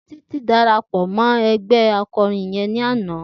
Titi dàrápò mò ègbè àkòrín ijò yèn làná